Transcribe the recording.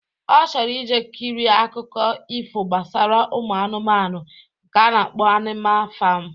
Ọ chọrọ ije kirie akụkọ ifo gbasara ụmụ anụmanụ nke a na-akpọ Anima fam.